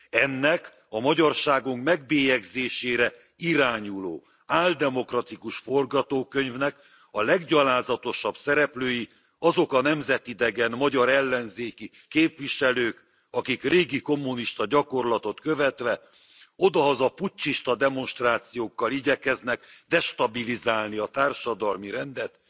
Ennek a magyarságunk megbélyegzésére irányuló áldemokratikus forgatókönyvnek a leggyalázatosabb szereplői azok a nemzetidegen magyar ellenzéki képviselők, akik régi kommunista gyakorlatot követve odahaza puccsista demonstrációkkal igyekeznek destabilizálni a társadalmi rendet,